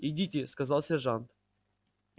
идите сказал сержант